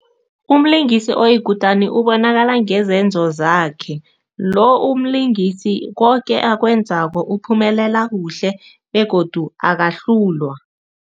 Umlingisi oyikutani ubonakala ngezenzo zakhe. Lo umlingisi, koke akwenzako uphumelela kuhle begodu akahlulwa.